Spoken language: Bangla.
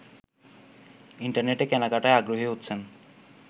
ইন্টারনেটে কেনাকাটায় আগ্রহী হচ্ছেন